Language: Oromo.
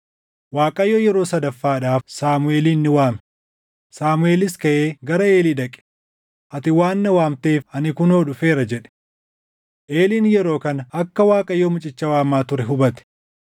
Waaqayyo yeroo sadaffaadhaaf Saamuʼeelin ni waame; Saamuʼeelis kaʼee gara Eelii dhaqe, “Ati waan na waamteef ani kunoo dhufeera” jedhe. Eliin yeroo kana akka Waaqayyo mucicha waamaa ture hubate.